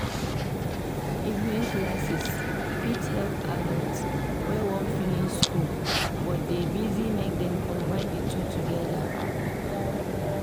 Evening classes fit help adults wey wan finish school but dey busy make Dem combine di two together.